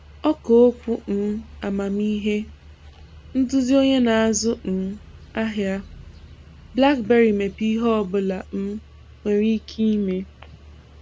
Ọ̀kà Okwu um amamị́he – Ndúzì Onye na-azụ um ahịa; BlackBerry mepèrè ‘íhè ọ̀bụ̀la um nwere ike ị̀mè.’